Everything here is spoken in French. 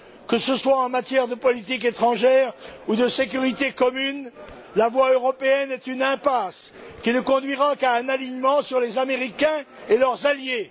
Que ce soit en matière de politique étrangère ou de sécurité commune, la voie européenne est une impasse qui ne conduira qu'à un alignement sur les Américains et leurs alliés.